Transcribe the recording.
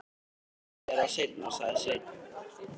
Ég segi þér það seinna, sagði Sveinn.